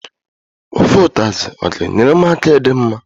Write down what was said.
Ofe ụtazị ga enyere m aka ịdị mma?